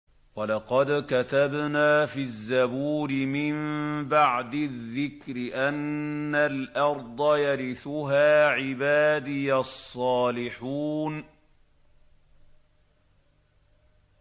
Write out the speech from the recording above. وَلَقَدْ كَتَبْنَا فِي الزَّبُورِ مِن بَعْدِ الذِّكْرِ أَنَّ الْأَرْضَ يَرِثُهَا عِبَادِيَ الصَّالِحُونَ